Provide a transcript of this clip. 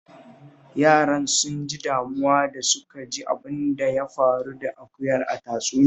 Yaran sun ji damuwa da suka ji abin da ya faru da akuya a tatsuniyar